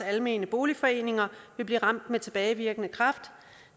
almene boligforeninger blive ramt med tilbagevirkende kraft